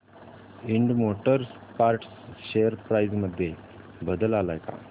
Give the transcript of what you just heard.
Ind motor parts share price मध्ये बदल आलाय का